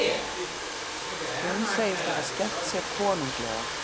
Hún segist hafa skemmt sér konunglega